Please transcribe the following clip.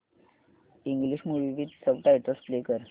English movie with subtitles play कर